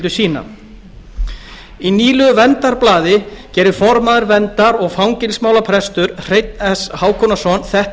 sína í nýlegu verndarblaði gerir formaður verndar og fangelsismálaprestur hreinn s hákonarson þetta að